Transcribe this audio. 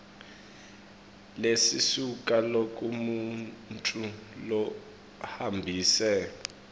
lesisuka kulomuntfu lohambise